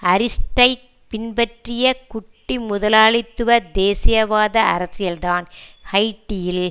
Aristide பின்பற்றிய குட்டிமுதலாளித்துவ தேசியவாத அரசியல்தான் ஹைட்டியில்